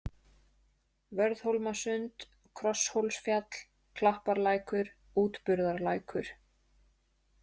Vörðhólmasund, Krosshólsfjall, Klapparlækur, Útburðarlækur